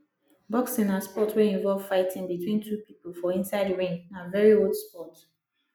boxing na sport wey involve fighting between two pipo for inside ring na very old sport